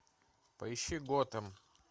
поищи готэм